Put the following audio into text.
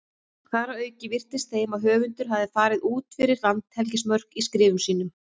Þar að auki virtist þeim að höfundur hefði farið út fyrir landhelgismörk í skrifum sínum.